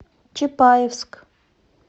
чапаевск